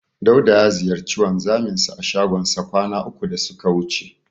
Dauda ya ziyarci wanzaminsa a shagonsa kwana uku da suka wuce.